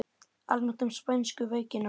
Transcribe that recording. Almennt um spænsku veikina